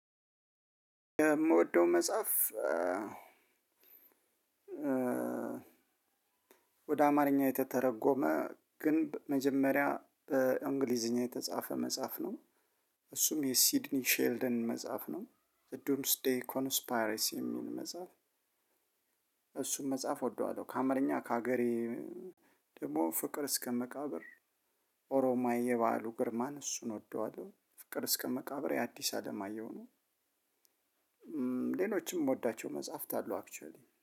የምወደው መጽሐፍ ወደ አማርኛ የተተረጎመ ግን መጀመሪያ በእንግሊዝኛ የተጻፈ መጽሐፍ ነው። እሱም የሲድኒ ሼልደን መጽሐፍ ነው። ዘዱንስ ዴይ ኮንስፓሬስ የሚል መጽሐፍ። እሱን መጽሐፍ እወደዋለሁ ከአማረኛ ከሀገሬ። ደግሞ ፍቅር እስከ መቃብር ኦሮማዊ የባህሉ ግርማን እሱን ወደዋለው ፍቅር እስከ መቃብር የአዲስ አለማየሁ ነው። ሌሎችም የምወዳቸው መጽሐፍት አለው አክቹሊ